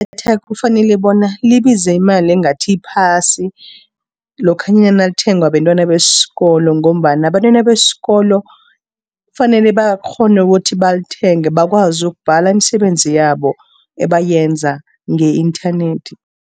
Idatha kufanele bona libize imali engathi iphasi, lokhanyana nalithengwa bentwana besikolo, ngombana abentwana besikolo fanele bakghone ukuthi balithenge, bakwazi ukubhala imisebenzi yabo ebayenza nge-inthanethi.